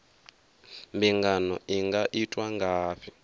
mbingano i nga itwa ngafhi